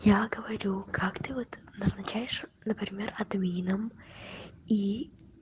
я говорю как ты вот назначаешь например админом и